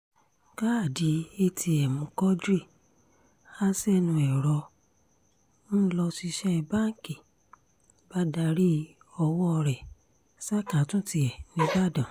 káàdì atm quadri ha sẹ́nu ẹ̀rọ ń lọ́ṣiṣẹ́ báǹkì bá darí ọwọ́ rẹ̀ ṣàkàtúntì tiẹ̀ nìbàdàn